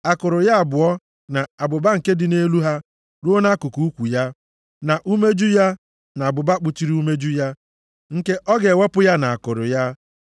akụrụ ya abụọ na abụba nke dị nʼelu ha ruo nʼakụkụ ukwu ya, na umeju ya na abụba kpuchiri umeju ya, nke ọ ga-ewepụ ya na akụrụ ya.